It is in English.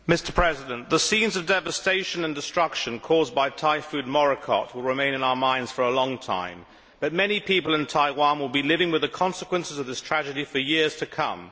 Mr President, the scenes of devastation and destruction caused by Typhoon Morakot will remain in our minds for a long time, but many people in Taiwan will be living with the consequences of this tragedy for years to come.